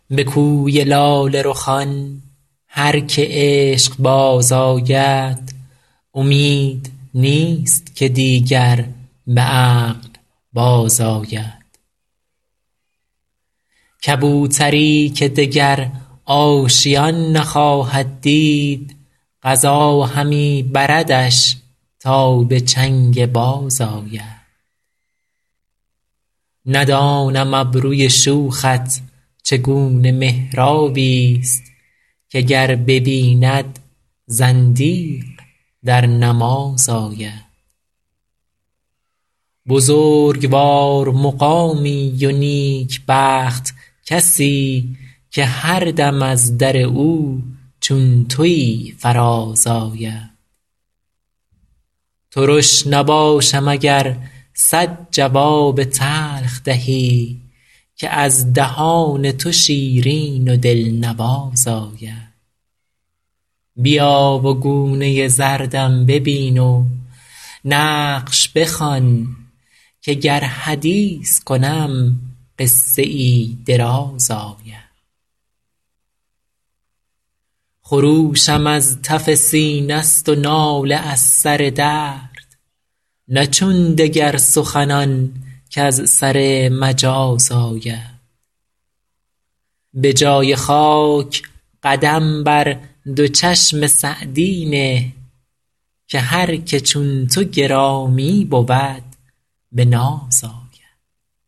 به کوی لاله رخان هر که عشق باز آید امید نیست که دیگر به عقل بازآید کبوتری که دگر آشیان نخواهد دید قضا همی بردش تا به چنگ باز آید ندانم ابروی شوخت چگونه محرابی ست که گر ببیند زندیق در نماز آید بزرگوار مقامی و نیکبخت کسی که هر دم از در او چون تویی فراز آید ترش نباشم اگر صد جواب تلخ دهی که از دهان تو شیرین و دلنواز آید بیا و گونه زردم ببین و نقش بخوان که گر حدیث کنم قصه ای دراز آید خروشم از تف سینه ست و ناله از سر درد نه چون دگر سخنان کز سر مجاز آید به جای خاک قدم بر دو چشم سعدی نه که هر که چون تو گرامی بود به ناز آید